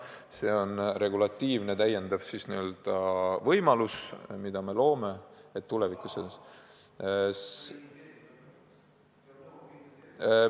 See on regulatiivne täiendav võimalus tulevikus.